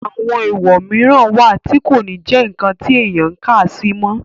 àwọn èwọ̀ mìíràn wà tí kò ní jẹ́ ǹkan tí èèyàn ń kàsí mọ́